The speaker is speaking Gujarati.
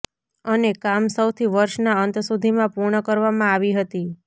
અને કામ સૌથી વર્ષના અંત સુધીમાં પૂર્ણ કરવામાં આવી હતી